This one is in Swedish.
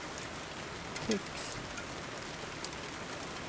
tycks